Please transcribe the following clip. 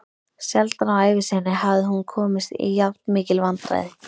Sjaldan á ævi sinni hafði hún komist í jafnmikil vandræði.